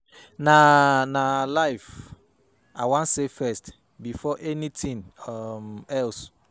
Na Na her life I wan save first before anything um else.